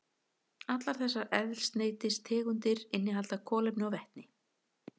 Allar þessar eldsneytistegundir innihalda kolefni og vetni.